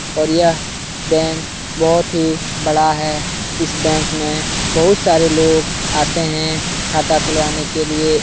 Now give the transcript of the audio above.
और यह बैंक बहौत ही बड़ा है। इस बैंक में बहौत सारे लोग आते हैं खाता खुलवाने के लिए।